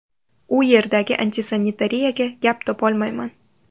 U yerdagi antisanitariyaga gap topolmayman.